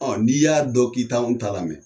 Ɔn n'i y'a dɔn ki t'anw ta lamɛn